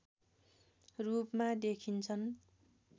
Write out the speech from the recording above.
रूपमा देखिन्छन्